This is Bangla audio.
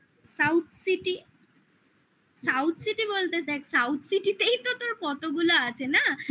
south city south city বলতে south city তেই তো তোর কতগুলো আছে না